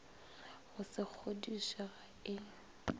go se kgodiše ga e